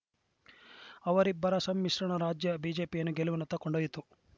ಅವರಿಬ್ಬರ ಸಮ್ಮಿಶ್ರಣ ರಾಜ್ಯ ಬಿಜೆಪಿಯನ್ನು ಗೆಲುವಿನತ್ತ ಕೊಂಡೊಯ್ಯಿತು